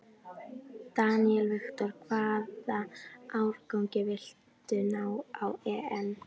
Daniel Victor: Hvaða árangri viltu ná á EM?